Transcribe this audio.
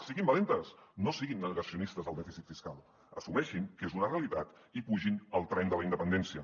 siguin valentes no siguin negacionistes del dèficit fiscal assumeixin que és una realitat i pugin al tren de la independència